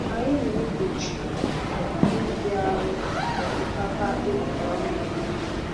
Anyị na-egbochi ọkụkọ ịbịaru osikapa e wetara ọhụrụ.